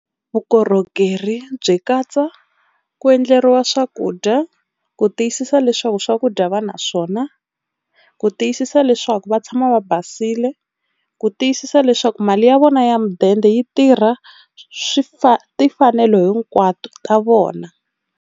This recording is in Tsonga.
Vukorhokeri byi katsa ku endleriwa swakudya ku tiyisisa leswaku swakudya va na swona, ku tiyisisa leswaku va tshama va basile, ku tiyisisa leswaku mali ya vona ya mudende yi tirha swifa timfanelo hinkwato ta vona.